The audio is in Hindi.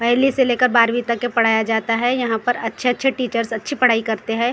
पहली से लेकर बारहवीं तक के पढ़ाया जाता है यहाँ पर अच्छे अच्छे टीचरस अच्छी पढ़ाई करते हैं यहाँ हम।